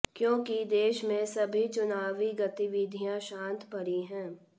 क्योकि देश में सभी चुनावी गतिविधियां शांत पड़ी है